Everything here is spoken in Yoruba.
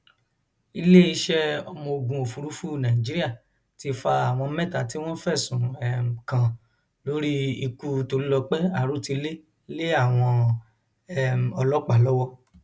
iléeṣẹ ọmọogun òfurufú nàìjíríà ti fa àwọn mẹta tí wọn fẹsùn um kàn lórí ikú tolulọpẹ arotilé lé àwọn um ọlọpàá lọwọ